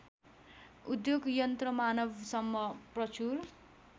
उद्योग यन्त्रमानवसम्म प्रचुर